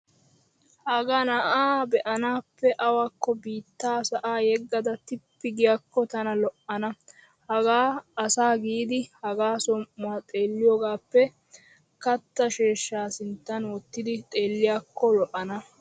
Hagaa na'aa be'anaappe awakko biittaa sa'aa yeggada tippi giyaakko tana lo'ana. Hagaa asa giidi hagaa som"uwaa xeelliyogaappe katta sheeshsha sinttan wottidi xeelliyaakko lo'ana.